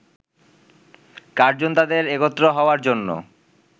Curzon তাদের একত্র হওয়ার জন্য